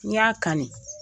N ɲ'a kanni.